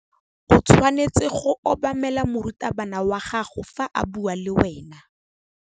O tshwanetse go obamela morutabana wa gago fa a bua le wena.